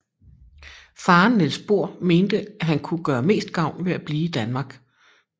Faren Niels Bohr mente at han kunne gøre mest gavn ved at blive i Danmark